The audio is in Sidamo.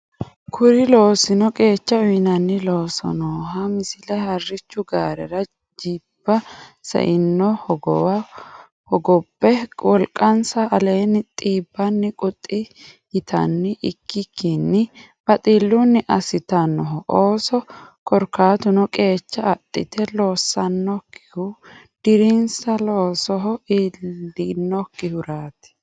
Kuni loosino qeecha uyneenna loossannoha Misile Harrichu gaarera jilba saino hogowo hogobbe wolqansa aleenni xiibbanni quxxi yitanni ikkikkinni baxillunni assitannoho ooso Korkaatuno qeecha adhite loossannokkihu dirinsa loosoho iillinnokkihuraati.